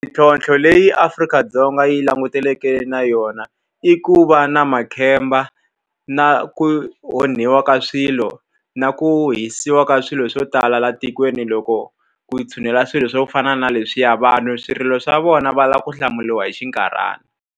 Mintlhontlho leyi Afrika-Dzonga yi langutaneke na yona, i ku va na makhamba, na ku onhiwa ka swilo, na ku hisiwa ka swilo swo tala laha tikweni loko ku tshunela swilo swo fana na leswiya. Vanhu swirilo swa vona va lava ku hlamuriwa hi xinkarhana.